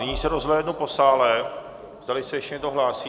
Nyní se rozhlédnu po sále, zdali se ještě někdo hlásí.